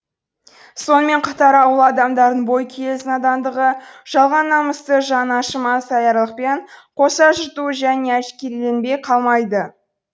сонымен қатар ауыл адамдарының бойкүйез надандығы жалған намысты жаны ашымас аярлықпен қоса жыртуы және әшкереленбей қалмайды